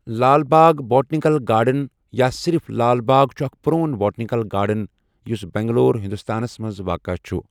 لال Bagh botanical garden یا صرف لال باغ چھُ اکھ پرٛون بوٹینیکل گارڈن یُس بنگلور، ہنٛدوستانَس منٛز واقعہ چھُ۔